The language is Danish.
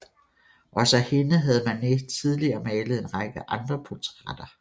Også af hende havde Manet tidligere malet en række andre portrætter